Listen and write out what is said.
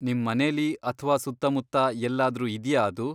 ನಿಮ್ ಮನೆಲಿ ಅಥ್ವಾ ಸುತ್ತಮುತ್ತ ಎಲ್ಲಾದ್ರೂ ಇದ್ಯಾ ಅದು?